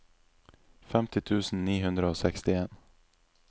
femti tusen ni hundre og sekstien